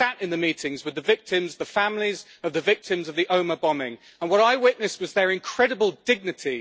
I sat in the meetings with the victims and the families of the victims of the Omagh bombing, and what I witnessed was their incredible dignity.